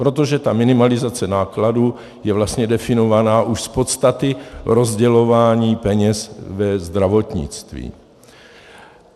Protože ta minimalizace nákladů je vlastně definovaná už z podstaty rozdělování peněz ve zdravotnictví.